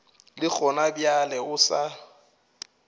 le gona bjale o sa